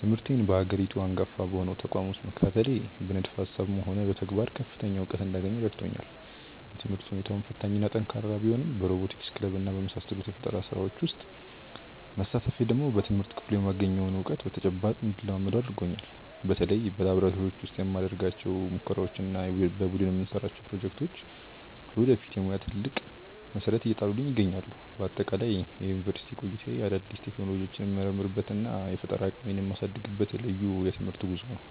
ትምህርቴን በሀገሪቱ አንጋፋ በሆነው ተቋም ውስጥ መከታተሌ በንድፈ ሃሳብም ሆነ በተግባር ከፍተኛ እውቀት እንዳገኝ ረድቶኛል። የትምህርት ሁኔታው ፈታኝና ጠንካራ ቢሆንም በሮቦቲክስ ክለብና በመሳሰሉት የፈጠራ ስራዎች ውስጥ መሳተፌ ደግሞ በትምህርት ክፍሉ የማገኘውን እውቀት በተጨባጭ እንድለማመደው አድርጎኛል። በተለይ በላብራቶሪዎች ውስጥ የምናደርጋቸው ሙከራዎችና የቡድን የምንሰራቸው ፕሮጀክቶች ለወደፊት የሙያ ትልቅ መሰረት እየጣሉልኝ ይገኛሉ። በአጠቃላይ የዩኒቨርሲቲ ቆይታዬ አዳዲስ ቴክኖሎጂዎችን የምመረምርበትና የፈጠራ አቅሜን የማሳድግበት ልዩ የትምህርት ጉዞ ነው።